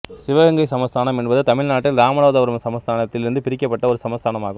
சிவகங்கை சமஸ்தானம் என்பது தமிழ்நாட்டில் இராமநாதபுரம் சமஸ்தானம் த்தில் இருந்து பிரிக்கப்பட்ட ஒரு சமஸ்தானம் ஆகும்